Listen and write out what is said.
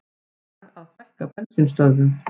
Lag að fækka bensínstöðvum